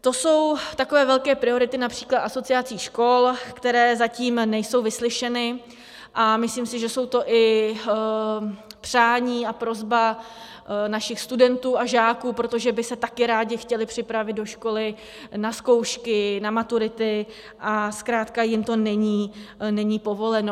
To jsou takové velké priority například asociací škol, které zatím nejsou vyslyšeny, a myslím si, že jsou to i přání a prosba našich studentů a žáků, protože by se také rádi chtěli připravit do školy na zkoušky, na maturity, a zkrátka jim to není povoleno.